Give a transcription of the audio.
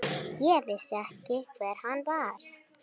Ég vissi ekki hver hann var.